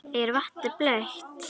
Er vatnið blautt?